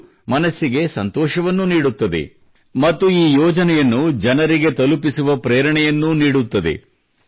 ಇದು ಮನಸ್ಸಿಗೆ ಸಂತೋಷವನ್ನು ನೀಡುತ್ತದೆ ಮತ್ತು ಈ ಯೋಜನೆಯನ್ನು ಜನರಿಗೆ ತಲುಪಿಸುವ ಪ್ರೇರಣೆಯನ್ನೂ ನೀಡುತ್ತದೆ